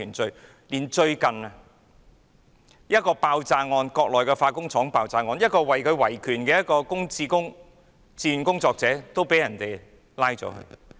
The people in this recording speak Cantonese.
最近，在一宗國內的化工廠爆炸案中，一名維權的自願工作者被拘捕。